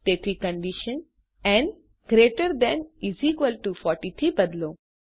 તેથી કન્ડીશન ન gt 40 થી બદલો